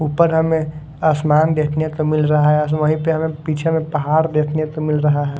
ऊपर हमें आसमान देखने का मिल रहा है अ वहीं पे हमें पीछे में पहाड़ देखने को मिल रहा है।